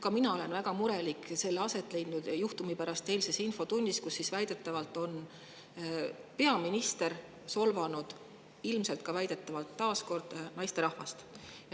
Ka mina olen väga murelik selle eilses infotunnis aset leidnud juhtumi pärast, kus väidetavalt solvas peaminister ilmselt taas kord naisterahvast.